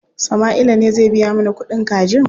Sama'ila ne zai biya mana kuɗin kajin.